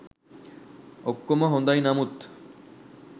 ඔක්කොම හොඳයි නමුත්